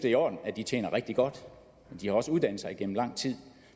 i orden at de tjener rigtig godt de har også uddannet sig igennem lang tid